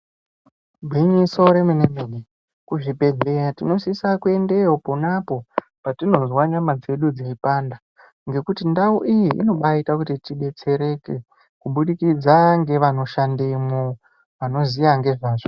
Igwinyiso remene mene kuzvibhedhleya tinosisa kuendeyo khonapo patinozwa nyama dzedu dzeipanda ngekuti ndau iyi inoita kuti tidetsereke kubudikidza ngevanoshandemwo vanoziva ngezvazvo.